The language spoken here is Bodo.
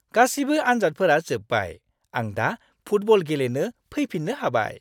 गासिबो आनजादफोरा जोब्बाय, आं दा फुटबल गेलेनो फैफिन्नो हाबाय।